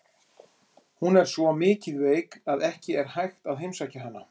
Hún er svo mikið veik að ekki er hægt að heimsækja hana.